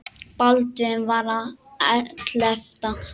Baldvin var á ellefta ári.